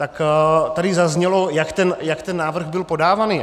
Tak tady zaznělo, jak ten návrh byl podáván.